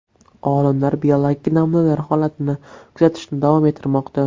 Olimlar biologik namunalar holatini kuzatishni davom ettirmoqda.